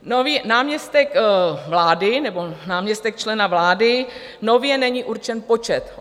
Náměstek vlády nebo náměstek člena vlády - nově není určen počet.